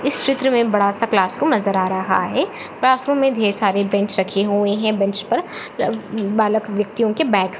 इस चित्र में बड़ा सा क्लासरूम नजर आ रहा है क्लासरूम में ढेर सारे बेंच रखे हुए हैं बेंच पर अमम बालक व्यक्तिओ के बैगस --